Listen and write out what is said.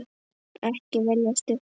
Ekki velja stutt orð.